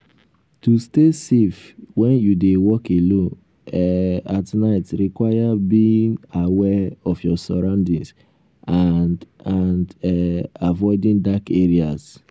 to stay safe when you dey walk alone um at night require being um aware of your surroundings and um and um avioding dark areas.